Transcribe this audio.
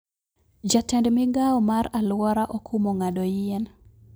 Jatend migao mar aluora okumo n'gado yien